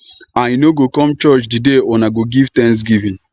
i no go come church the day una go give thanksgiving